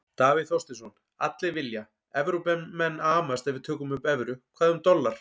Davíð Þorsteinsson: Allir vilja, Evrópumenn amast ef við tökum upp evru, hvað um dollar?